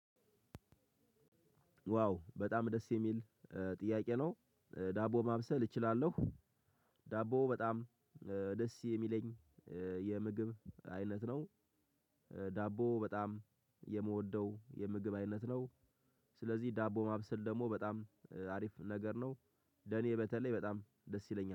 ዋው በጣም ደስ የሚል ጥያቄ ነው ዳቦ ማብሰል እችላለሁ። ዳቦ በጣም ደስ የሚለኝ የምግብ አይነት ነው። ዳቦ በጣም የምወደው የምግብ አይነት ነው። ስለዚህ ዳቦ ማብሰል ደግሞ በጣም አሪፍ ነገር ነው። ለኔ በተለይ በጣም ደስ ይለኛል